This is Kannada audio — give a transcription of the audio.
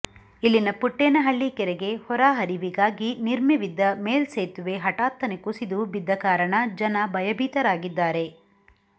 ಇಲ್ಲಿನ ಪುಟ್ಟೇನಹಳ್ಳಿ ಕೆರೆಗೆ ಹೊರ ಹರಿವಿಗಾಗಿ ನಿರ್ಮಿವಿದ್ದ ಮೇಲ್ಸೇತುವೆ ಹಠಾತ್ತನೆ ಕುಸಿದು ಬಿದ್ದ ಕಾರಣ ಜನ ಭಯಬೀತರಾಗಿದ್ದಾರೆ